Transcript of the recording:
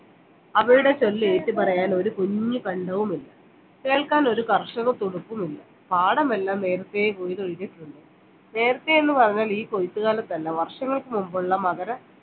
അവരുടെ ചൊല്ല് ഏറ്റ് പറയാൻ ഒരു കുഞ്ഞു ബന്ധവുമില്ല കേൾക്കാൻ ഒരു കർഷക തുടിപ്പും ഇല്ല പാഠമെല്ലാം നേരത്തെ കൊയ്തൊഴിഞ്ഞ് നേരത്തെ എന്ന് പറഞ്ഞാൽ ഈ കൊയ്ത്ത് കാലത്തല വർഷങ്ങൾക്കു മുമ്പുള്ള മകര